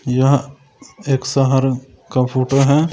यह एक सहारन का फोटो है।